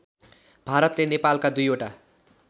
भारतले नेपालका २ वटा